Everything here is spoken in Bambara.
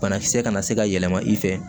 Banakisɛ kana se ka yɛlɛma i fɛ